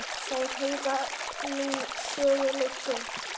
Þeir heyra nú sögunni til.